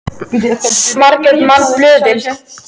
Margt er manna bölið.